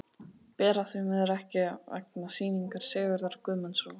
Bera því miður ekki við, vegna sýningar Sigurðar Guðmundssonar.